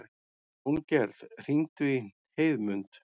Jóngerð, hringdu í Heiðmund.